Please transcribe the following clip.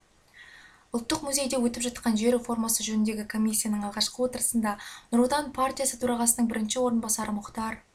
ұлттық музейде өтіп жатқан жер реформасы жөніндегі комиссияның алғашқы отырысында нұр отан партиясы төрағасының бірінші орынбасарымұхтар